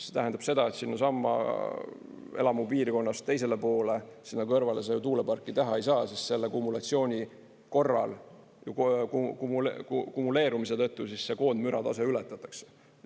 See tähendab seda, et sinnasamma selles elamupiirkonnas teisele poole, sinna kõrvale tuuleparki teha ei saa, sest selle kumulatsiooni korral, kumuleerumise tõttu koondmüratase ületatakse.